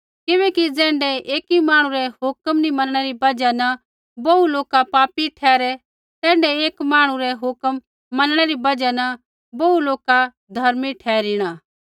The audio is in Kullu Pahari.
किबैकि ज़ैण्ढै एकी मांहणु रै हुक्म नी मनणै री बजहा न बोहू लोका पापी ठहरै तैण्ढै एकी मांहणु रै हुक्म मनणै री बजहा न बोहू लोका धर्मी ठहरिणा